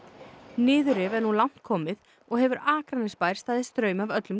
niðurrif er nú langt komið og hefur Akranesbær staðið straum af öllum